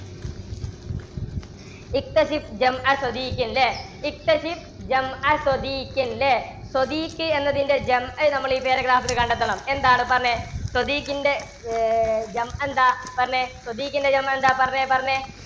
ഇല്ലേ എന്നതിന്റെ നമ്മൾ ഈ paragraph ൽ കണ്ടെത്തണം. എന്താണ്, പറഞ്ഞേ. പറഞ്ഞേ, എന്താ പറഞ്ഞേ പറഞ്ഞേ